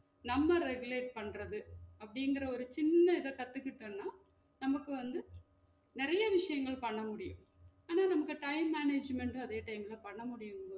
நம்ம regulate பன்றது அப்படிங்குற ஒரு சின்ன இத கத்துக்கிட்டோன்னா நமக்கு வந்து நெறைய விஷயங்கள் பண்ண முடியும் ஆனா நமக்கு time management உம் அதே time ல பண்ண முடியும்